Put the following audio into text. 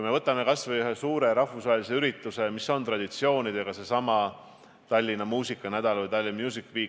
Aga võtame kas või ühe suure rahvusvahelise ja traditsioonidega ürituse, Tallinna muusikanädala ehk Tallinn Music Weeki.